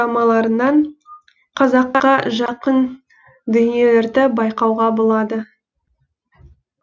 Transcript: төртіншіден кәріс дорамаларынан қазаққа жақын дүниелерді байқауға болады